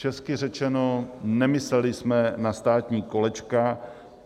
Česky řečeno, nemysleli jsme na státní kolečka.